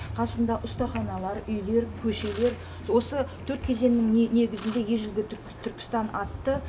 қасында ұстаханалар үйлер көшелер осы төрт кезеңнің негізінде ежелгі түркістан атты